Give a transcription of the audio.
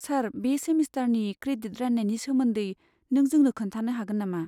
सार, बे सेमिस्टारनि क्रेडिट राननायनि सोमोन्दै नों जोंनो खोन्थानो हागोन नामा?